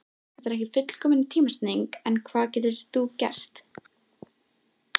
Þetta er ekki fullkomin tímasetning en hvað getur þú gert?